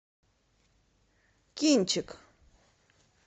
кинчик